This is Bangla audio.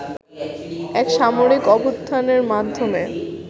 এক সামরিক অভ্যুত্থানের মাধ্যমে